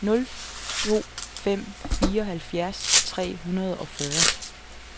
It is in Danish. nul to nul fem fireoghalvfjerds tre hundrede og fyrre